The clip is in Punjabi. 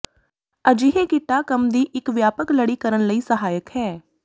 ਅਜਿਹੇ ਕਿੱਟਾ ਕੰਮ ਦੀ ਇੱਕ ਵਿਆਪਕ ਲੜੀ ਕਰਨ ਲਈ ਸਹਾਇਕ ਹੈ